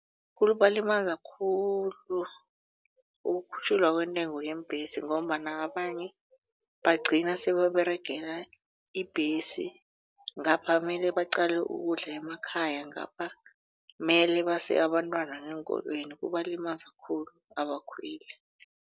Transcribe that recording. khulu ukukhutjhulwa kwentengo yeembhesi ngombana abanye bagcina sebaberegela ibhesi ngapha mele baqale ukudla emakhaya ngapha mele base abantwana ngeenkolweni kubalimaza khulu abakhweli.